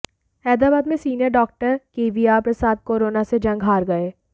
हैदराबाद में senior doctor KVR Prasad corona से जंग हार गए